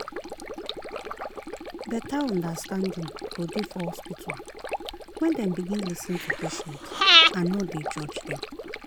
better understanding go dey for hospital when dem begin lis ten to patient and nor dey judge them.